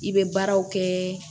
I bɛ baaraw kɛ